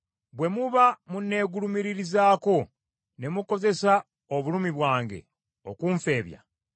Bwe muba munneegulumiririzaako ne mukozesa obulumi bwange okunfeebya,